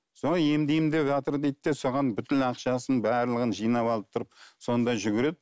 солай емдеймін деватыр дейді де соған бүкіл ақшасын барлығын жинап алып тұрып сонда жүгіреді